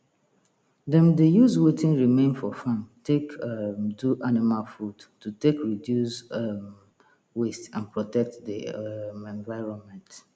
them dey use wetin remain for farm take um do animal food to take reduce um waste and protect the um environment